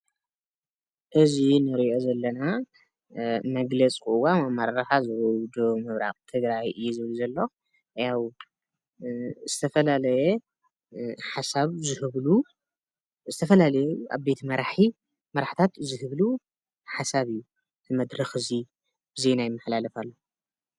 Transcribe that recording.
እዚ ንሪኦ ዘለና መግለፂ ቅዋም ኣመራርሓ ዞባ ደቡብ ምብራቅ ትግራይ እዩ ዝብል ዘሎ ያዉ ዝተፈላለየ ሓሳብ ዝህብሉ ዝተፈላለየ ዓበይቲ መራሕታት ዝህብሉ ሓሳብ እዩ መድረክ እዚ ዜና ይመሓላለፍ ኣሎ ።